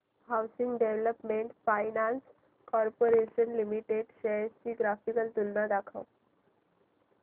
housing development finance corporation limited shares ची graphical तुलना दाखव